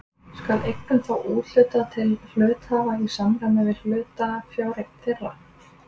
Skal eignum þá úthlutað til hluthafa í samræmi við hlutafjáreign þeirra.